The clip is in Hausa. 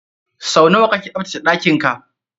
Sau nawa kake tsaftace ɗakin ka?